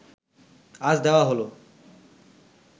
আজ দেওয়া হলো